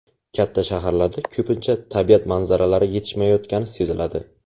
Katta shaharlarda ko‘pincha tabiat manzaralari yetishmayotgani seziladi.